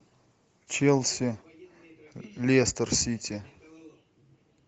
челси лестер сити